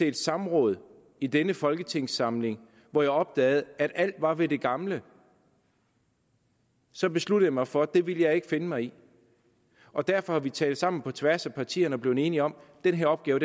et samråd i denne folketingssamling hvor jeg opdagede at alt var ved det gamle så besluttede jeg mig for at det ville jeg ikke finde mig i og derfor har vi talt sammen på tværs af partierne blevet enige om at den her opgave